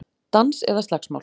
Dans eða slagsmál